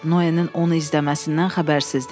Noenin onu izləməsindən xəbərsizdir.